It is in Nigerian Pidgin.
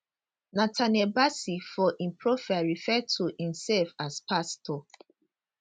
nathaniel bassey for im profile refer to imsef as pastor